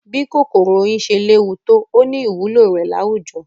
Bí kòkòrò oyin ṣe léwu tó,ó ní ìwúlò rẹ̀ láwùjọ.